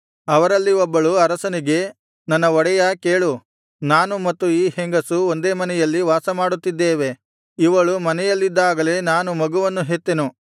ಅವರಲ್ಲಿ ಒಬ್ಬಳು ಅರಸನಿಗೆ ನನ್ನ ಒಡೆಯಾ ಕೇಳು ನಾನು ಮತ್ತು ಈ ಹೆಂಗಸು ಒಂದೇ ಮನೆಯಲ್ಲಿ ವಾಸಮಾಡುತ್ತಿದ್ದೇವೆ ಇವಳು ಮನೆಯಲ್ಲಿದ್ದಾಗಲೇ ನಾನು ಮಗುವನ್ನು ಹೆತ್ತೆನು